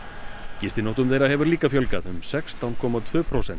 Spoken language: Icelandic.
gistinóttum þeirra hefur líka fjölgað um sextán komma tvö prósent